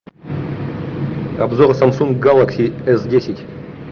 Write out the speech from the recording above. обзор самсунг гелакси с десять